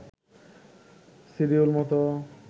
schedule মতো